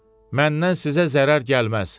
Məndən sizə zərər gəlməz.